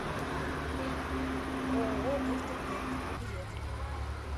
ооо доктор дент билет